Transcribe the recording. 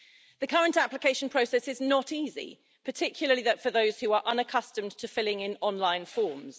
The current application process is not easy, particularly for those who are unaccustomed to filling in online forms.